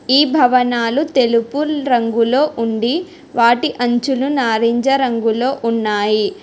ఈ భవనాలు తెలుపు రంగులో ఉండి వాటి అంచులు నారింజ రంగులో ఉన్నాయి.